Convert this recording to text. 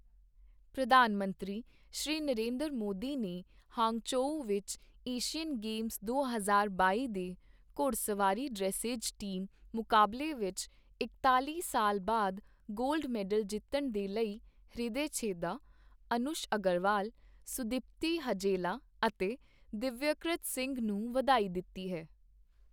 ਪ੍ਰਧਾਨ ਮੰਤਰੀ, ਸ਼੍ਰੀ ਨਰਿੰਦਰ ਮੋਦੀ ਨੇ ਹਾਂਗਝੋਉ ਵਿੱਚ ਏਸ਼ੀਅਨ ਗੇਮਸ ਦੋ ਹਜ਼ਾਰ ਬਾਈ ਦੇ ਘੋੜਸਵਾਰੀ ਡ੍ਰੇਸੇਜ ਟੀਮ ਮੁਕਾਬਲੇ ਵਿੱਚ ਇਕਤਾਲ਼ੀ ਸਾਲ ਬਾਅਦ ਗੋਲਡ ਮੈਡਲ ਜਿੱਤਣ ਦੇ ਲਈ ਹ੍ਰਿਦੇ ਛੇਦਾ, ਅਨੁਸ਼ ਅਗਰਵਾਲ, ਸੁਦੀਪਤੀ ਹਜੇਲਾ ਅਤੇ ਦਿੱਵਯਕ੍ਰਿਤ ਸਿੰਘ ਨੂੰ ਵਧਾਈ ਦਿੱਤੀ ਹੈ।